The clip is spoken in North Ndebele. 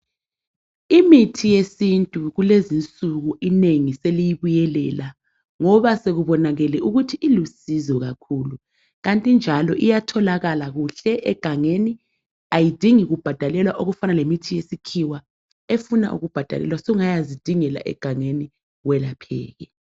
Imithi yesintu kulezinsuku inengi seliyibuyelela ngoba sekubonakele ukuthi ilusizo kakhulu. Kanti njalo iyatholakala kuhle egangeni. Ayidingi kubhadalelwa okufana lemithi yesikhiwa efuna ukubhadalelwa. Sungayazidingela egangeni welapheke.